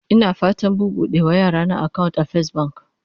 Ina fatan buɓuɗe ma yarana akawunt a fes bank